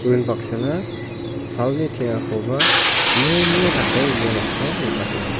unbaksana salni teng·akoba mri-mri dake ia noksao nikatenga.